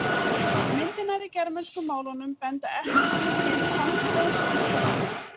Myndirnar í germönsku málunum benda ekki til tannhljóðs í stofni.